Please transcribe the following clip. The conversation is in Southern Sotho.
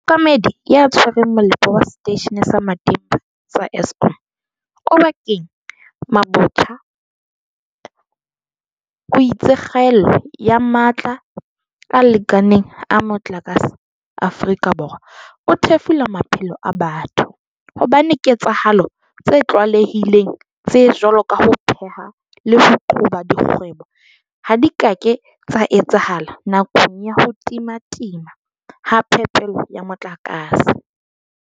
Mookamedi ya Tshwereng Mole po wa Seteishene sa Matimba sa Eskom Oba keng Mabotja o itse kgaello ya matla a lekaneng a motlakase Aforika Borwa e thefula maphelo a batho hobane diketsahalo tse tlwaele hileng tse jwalo ka ho pheha le ho qhoba dikgwebo ha di ka ke tsa etsahala nakong ya ho timatima ha phepelo ya motlakase.